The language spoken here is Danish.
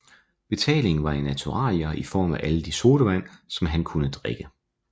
Betalingen var i naturalier i form af alle de sodavand som han kunne drikke